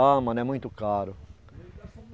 Ah, mano é muito caro.